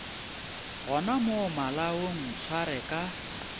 gona mo malaong ntshware ka